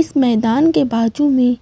इस मैदान के बाजू में